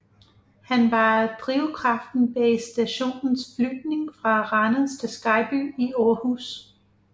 Han var drivkraften bag stationens flytning fra Randers til Skejby i Aarhus